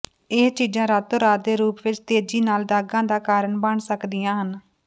ਇਹ ਚੀਜ਼ਾਂ ਰਾਤੋ ਰਾਤ ਦੇ ਰੂਪ ਵਿੱਚ ਤੇਜ਼ੀ ਨਾਲ ਦਾਗਾਂ ਦਾ ਕਾਰਨ ਬਣ ਸਕਦੀਆਂ ਹਨ